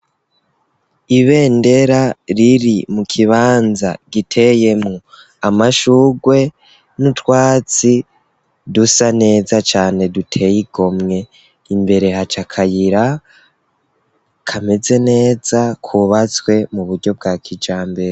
Ibendera riri mu kibanza giteyemwo amashurwe, n'utwatsi dusa neza cane duteye igomwe; imbere haca akayira, kameze neza, kubatswe mu buryo bwa kijambere.